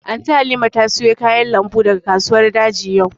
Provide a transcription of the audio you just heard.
Anty Halima ta sayo kayan lambu daga kasuwar daji yau